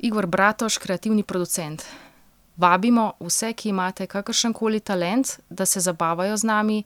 Igor Bratož, kreativni producent: ''Vabimo vse, ki imate kakršen koli talent, da se zabavajo z nami,